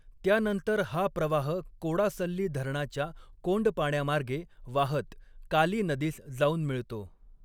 त्यानंतर हा प्रवाह कोडासल्ली धरणाच्या कोंडपाण्यामार्गे वाहत काली नदीस जाऊन मिळतो.